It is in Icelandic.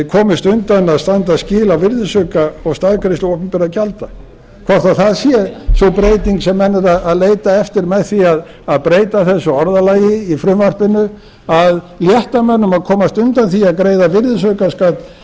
komist undan að standa skil á virðisauka og staðgreiðslu opinberra gjalda hvort það sé sú breyting sem menn eru að leita eftir með því að breyta þessu orðalagi í frumvarpinu að létta mönnum að komast undan því að greiða virðisaukaskatt